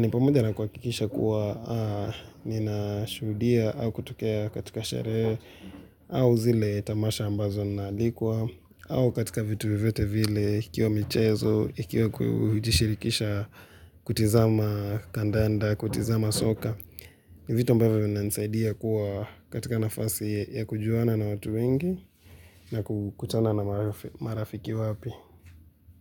ni pamoja na kuhakikisha kuwa ninashuhudia au kutokea katika sherehe au zile tamasha ambazo naalikwa au katika vitu vyovyote vile ikiwa michezo, ikiwa kujishirikisha kutizama kandanda, kutizama soka. Ni vitu ambavyo vinanisaidia kuwa katika nafasi ya kujuana na watu wengi na kukutana na marafiki wapi.